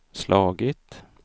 slagit